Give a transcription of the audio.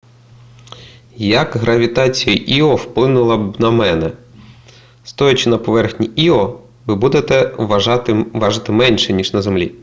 як гравітація іо вплинула б на мене стоячи на поверхні іо ви будете важити менше ніж на землі